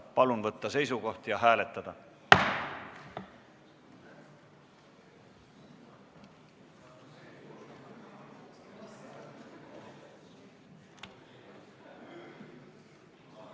Palun võtta seisukoht ja hääletada!